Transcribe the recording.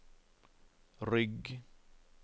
rygg